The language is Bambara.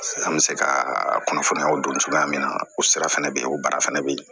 An bɛ se ka kunnafoniyaw dun cogoya min na o sira fana bɛ yen o baara fana bɛ yen